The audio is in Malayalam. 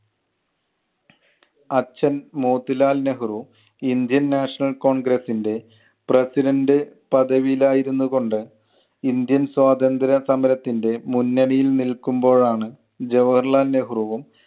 അച്ഛൻ Motilal Nehru indian national congress ൻ്റെ president പദവിയിൽ ആയിരുന്നു കൊണ്ട് ഇന്ത്യൻ സ്വാതന്ത്ര്യ സമരത്തിൻ്റെ മുന്നണിയിൽ നിൽക്കുമ്പോഴാണ് ജവഹർലാൽ നെഹ്രുവും